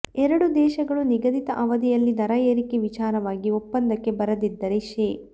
ಎರಡೂ ದೇಶಗಳು ನಿಗದಿತ ಅವಧಿಯಲ್ಲಿ ದರ ಏರಿಕೆ ವಿಚಾರವಾಗಿ ಒಪ್ಪಂದಕ್ಕೆ ಬರದಿದ್ದರೆ ಶೇ